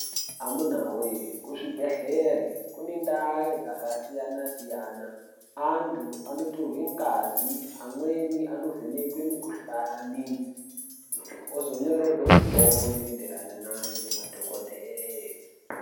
Amunawee kuzvibhedhleri kune ndaa dzakasiyana-siyana antu anotorwe ngazi amweni anovhekwe mikuhlani ozonyorerwe mitombo inoenderana nayo ngemadhogodhee.